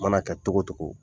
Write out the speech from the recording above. Mana kɛ togo togo.